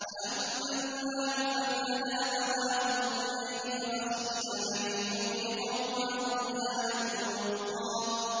وَأَمَّا الْغُلَامُ فَكَانَ أَبَوَاهُ مُؤْمِنَيْنِ فَخَشِينَا أَن يُرْهِقَهُمَا طُغْيَانًا وَكُفْرًا